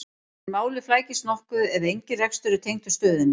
en málið flækist nokkuð ef engin rekstur er tengdur stöðinni